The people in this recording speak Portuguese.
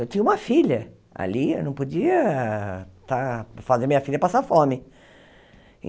Eu tinha uma filha ali, eu não podia estar fazer minha filha passar fome.